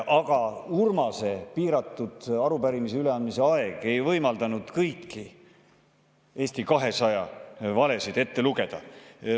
Aga Urmase arupärimise üleandmise piiratud aeg ei võimaldanud kõiki Eesti 200 valesid ette lugeda.